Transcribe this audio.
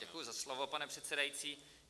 Děkuji za slovo, pane předsedající.